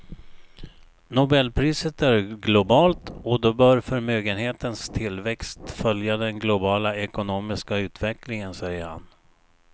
Nobelpriset är globalt och då bör förmögenhetens tillväxt följa den globala ekonomiska utvecklingen, säger han.